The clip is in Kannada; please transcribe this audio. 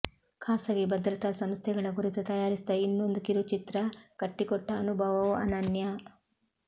ಖಾಸಗಿ ಭದ್ರತಾ ಸಂಸ್ಥೆಗಳ ಕುರಿತು ತಯಾರಿಸಿದ ಇನ್ನೊಂದು ಕಿರುಚಿತ್ರ ಕಟ್ಟಿಕೊಟ್ಟ ಅನುಭವವೂ ಅನನ್ಯ